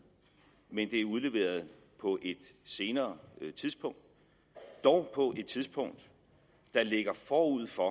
men det er udleveret på et senere tidspunkt dog på et tidspunkt der ligger forud for